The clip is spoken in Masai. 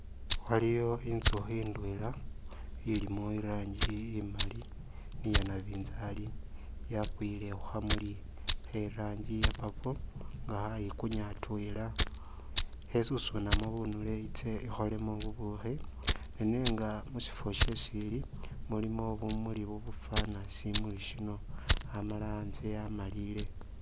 Waliwo intsukhi indwela ilimo iranji imaali ni yanabinzari yakwile khukhamuli kheranji iya purple nga khayikunya atwela, khesusunamo bunule itse ikholemo bubukhi nenga musifwo shesili mulimo bumuli bubufana stimuli sino Amala antze amalile